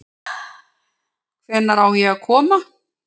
Hvenær á ég að koma?